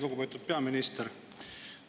Lugupeetud peaminister!